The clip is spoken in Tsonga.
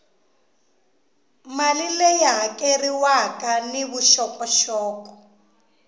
mali leyi hakeriwaka ni vuxokoxoko